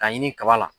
K'a ɲini kaba la